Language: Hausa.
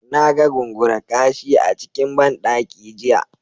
Na ga Gungura-kashi a cikin ban daki jiya.